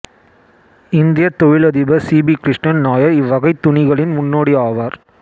இந்தியத் தொழிலதிபர் C P Krishnan Nair இவ்வகைத் துணிகளின் முன்னோடி ஆவார்